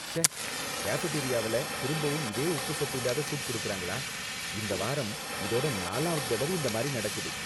ச்சே! கேஃபடேரியாவில திரும்பவும் இதே உப்புச்சப்பு இல்லாத சூப் கொடுக்கிறாங்களா? இந்த வாரம், இதோட நாலாவது தடவை இந்த மாதிரி நடக்குது.